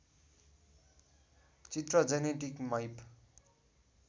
चित्र genetic map